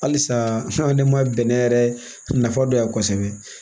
Halisa hali ne ma bɛnɛ yɛrɛ nafa dɔnya kosɛbɛ